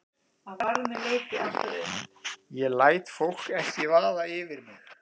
Ég læt fólk ekki vaða yfir mig.